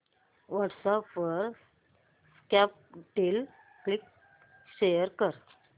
WhatsApp वर Snapdeal link share कर